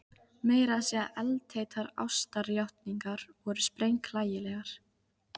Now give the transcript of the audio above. Meira að segja eldheitar ástarjátningar voru sprenghlægilegar.